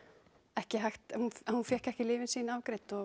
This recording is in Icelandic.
ekki hægt hún fékk ekki lyfin sín afgreidd og